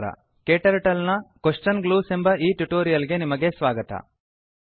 KTurtle ನ question ಗ್ಲೂಸ್ ಎಂಬ ಈ ಟ್ಯುಟೋರಿಯಲ್ ಗೆ ನಿಮಗೆ ಸ್ವಾಗತ